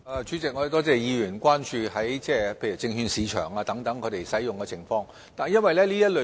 主席，多謝議員關注系統在證券市場等方面的使用情況。